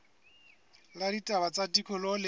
la ditaba tsa tikoloho le